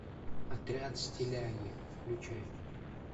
отряд стиляги включай